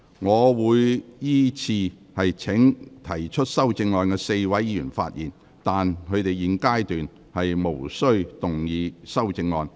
我會依次請提出修正案的4位議員發言，但他們在現階段無須動議修正案。